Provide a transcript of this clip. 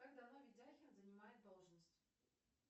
как давно видяхин занимает должность